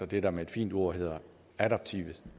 det der med et fint ord hedder adaptive